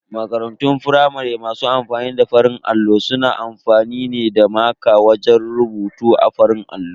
Makarantun firamare masu amfani da farin allo suna amfani ne da maƙa wajen rubutu a farin allon.